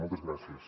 moltes gràcies